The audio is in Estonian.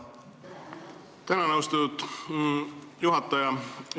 Tänan, austatud juhataja!